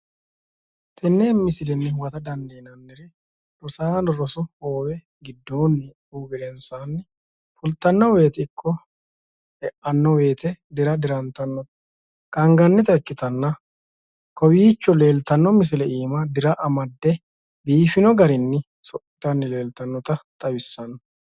Tene misilenni huwatta dandiinanniri rosaano rosu minira e'anonna fulittano woyte anga borro amade dira dirrate leelittanotta xawisano